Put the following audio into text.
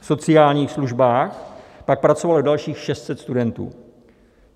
V sociálních službách pak pracovalo dalších 600 studentů.